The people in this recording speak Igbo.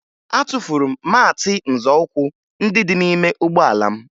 Atụfuru m maatị nzọụkwụ ndị dị n'ime ụgbọala m